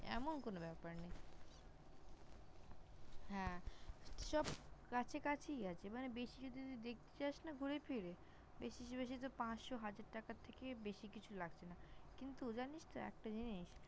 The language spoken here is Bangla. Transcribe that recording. এমন কোনো ব্যাপার নেই। হ্যাঁ সব কাছাকাছিই আছে মানে বেশি যদি তুই দেখতে চাস না ঘুরেফিরে বেশি বেশি তো পাঁচশো হাজার টাকার থেকে বেশি কিছু লাগছে না। কিন্তু জানিস তো একটা জিনিস?